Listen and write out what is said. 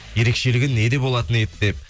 ерекшелігі неде болатын еді деп